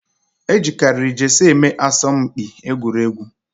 Ejikariri jesie eme aso m mkpi egwuregwu